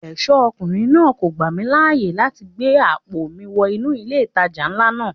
Ẹ̀ṣọ́ ọkùnrin náà kò gbà mí láyè láti gbé àpò mi wọ inú ilé ìtajà ńlá náà.